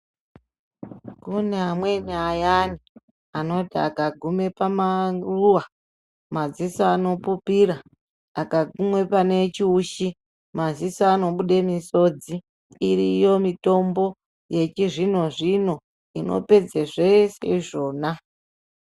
Kune amweni ayani anoti aka gume pa maruva madziso ano pupira aka gume pane chiushi maziso ano bude misodzi iyoyo mitombo yechi zvino zvino inopedze zvese izvona.